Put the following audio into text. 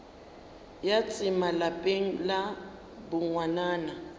ya tsema lapeng la bongwanana